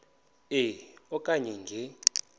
e okanye nge